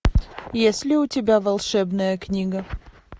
есть ли у тебя волшебная книга